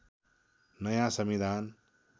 नयाँ संविधान